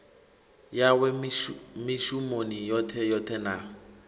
yawe mishumoni yoṱhe yoṱhe na